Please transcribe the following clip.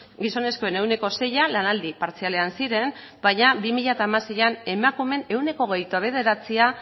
gizonezkoen ehuneko seia lanaldi partzialean ziren baina bi mila hamaseian emakumeen ehuneko hogeita bederatzia